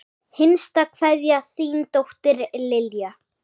Hinsta kveðja, þín dóttir, Lilja.